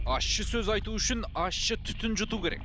ащы сөз айту үшін ащы түтін жұту керек